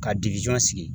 Ka sigi